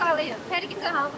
Xankəndliyəm.